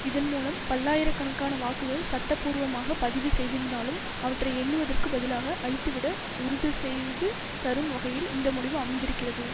இதன் மூலம் பல்லாயிர கணக்கான வாக்குகள் சட்டபூர்வமாக பதிவு செய்திருந்தாலும் அவற்றை எண்ணுவதற்கு பதிலாக அழித்துவிட உறுதுசெய்து தரும் வகையில் இந்த முடிவு அமைந்திருக்கிறது